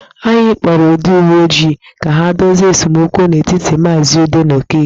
Anyị kpọrọ ndị uwe ojii ka ha dozie esemokwu nọ n'etiti maazị Ude na Okeke.